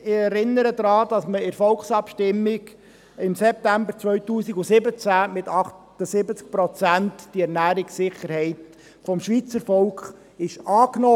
Ich erinnere daran, dass das Schweizer Volk in der Volksabstimmung im September 2017 mit 78 Prozent die Ernährungssicherheit annahm.